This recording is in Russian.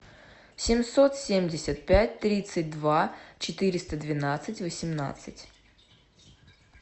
семьсот семьдесят пять тридцать два четыреста двенадцать восемнадцать